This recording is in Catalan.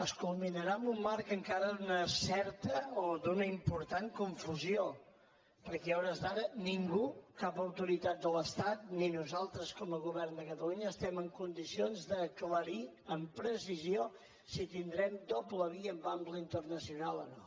es culminarà en un marc encara d’una certa o d’una important confusió perquè a hores d’ara ningú cap autoritat de l’estat ni nosaltres com a govern de catalunya estem en condicions d’aclarir amb precisió si tindrem doble via amb ample internacional o no